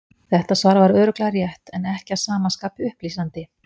Þetta svar var örugglega rétt, en ekki að sama skapi upplýsandi.